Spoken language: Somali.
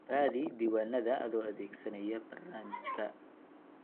Raadi diiwaannada adoo adeegsanaya barnaamijka.